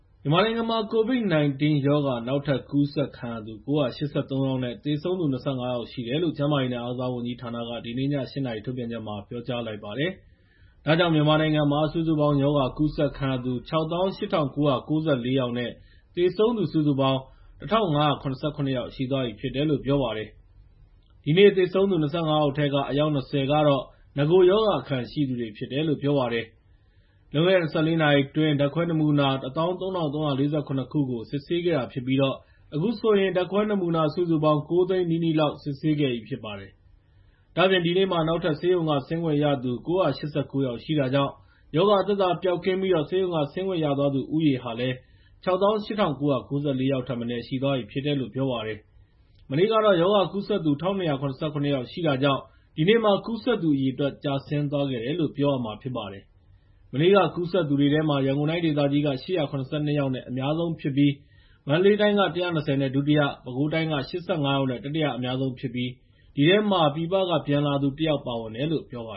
မြန်မာနိုင်ငံမှာ COVID-19 ရောဂါ ကူးစက်ခံရသူ ၉၈၃ ယောက်နဲ့ သေဆုံးသူ ၂၅ ယောက်ရှိတယ်လို့ ကျန်းမာရေးနဲ့ အားကစားဝန်ကြီးဌာနက ဒီနေ့ည ၈ နာရီ ထုတ်ပြန်ချက်မှာ ပြောလိုက်ပါတယ်။ ဒါကြောင့် မြန်မာနိုင်ငံမှာ စုစုပေါင်း ရောဂါကူးစက်ခံရသူ ၆၈,၉၉၄ ယောက်နဲ့ သေဆုံးသူ စုစုပေါင်း ၁,၅၇၇ ယောက်ရှိသွားပြီဖြစ်တယ်လို့ ပြောပါတယ်။ ဒီနေ့သေဆုံးသူ ၂၅ ယောက်ထဲက အယောက် ၂၀ ကတော့ နဂိုရောဂါအခံရှိသူတွေ ဖြစ်တယ်လို့ ကျန်းမာရေးဝန်ကြီးဌာနက ပြောပါတယ်။ လွန်ခဲ့တဲ့ ၂၄ နာရီအတွင်းမှာ ဓာတ်ခွဲနမူနာ ၁၃,၃၄၇ ကို စစ်ဆေးခဲ့တာဖြစ်ပြီး အခုဆိုရင် ဓာတ်ခွဲနမူနာ စုစုပေါင်း ၉ သိန်းနီးနီးလောက် စစ်ဆေးခဲ့ပြီးဖြစ်ပါတယ်။ ဒါ့အပြင် ဒီနေ့မှာ နောက်ထပ် ဆေးရုံကဆင်းခွင့်ရသူ ၉၈၉ ယောက်ရှိတာကြောင့် ရောဂါသက်သာပျောက်ကင်းပြီး ဆေးရုံက ဆင်းခွင့်ရသူဦးရေ ၆၈,၉၉၄ ယောက်ရှိသွားပြီဖြစ်တယ်လို့ ပြောပါတယ်။ မနေ့ကတော့ ရောဂါကူးစက်သူ ၁,၂၇၇ ယောက်ရှိတာကြောင့် ဒီနေ့မှာ ကူးစက်သူအရေအတွက် ကျဆင်းသွားခဲ့တယ်လို့ ပြောရမှာဖြစ်ပါတယ်။ မနေ့က ကူးစက်သူတွေထဲမှာ ရန်ကုန်တိုင်းဒေသကြီးက ၈၇၂ ယောက်နဲ့ အများဆုံးဖြစ်ပြီး မန္တလေးတိုင်းက ၁၂၀ နဲ့ ဒုတိယ၊ ပဲခူးတိုင်းက ၈၅ ယောက်နဲ့ တတိယအများဆုံးဖြစ်ပြီး ပြည်ပက ပြန်လာသူတယောက် ပါဝင်တယ်လို့ ပြောပါ